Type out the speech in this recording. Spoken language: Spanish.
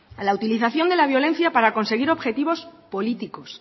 la utilización de la violencia para conseguir objetivos políticos